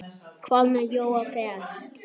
Hvað með Jóa fress?